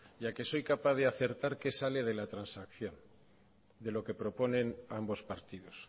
y a que soy capaz de acertar qué sale de la transacción de lo que proponen ambos partidos